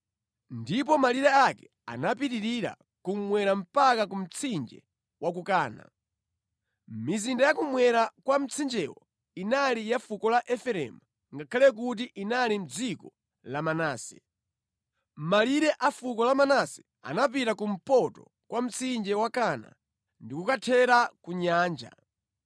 Ndipo malire ake anapitirira kummwera mpaka ku mtsinje wa ku Kana. Mizinda ya kummwera kwa mtsinjewo inali ya fuko la Efereimu ngakhale kuti inali mʼdziko la Manase. Malire a fuko la Manase anapita kumpoto kwa mtsinje wa Kana ndi kukathera ku Nyanja.